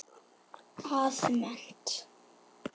að mennt.